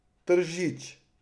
Tržič.